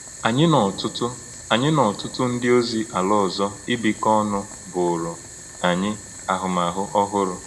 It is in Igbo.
Ányị̄ nā ọ́tụ́tụ́ Ányị̄ nā ọ́tụ́tụ́ ǹdí̀ òzì̄ àlá ọ̀zọ̀̀ ìbíkọ̀ ọ̀nụ̀ bụ̀ūrù̄ ānyị̄ ahụ́mahụ̀ ọ̀hụrụ̄.